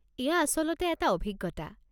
এয়া আচলতে এটা অভিজ্ঞতা।